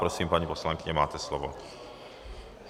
Prosím, paní poslankyně, máte slovo.